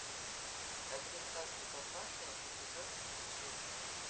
американский папаша эпизод тридцать шесть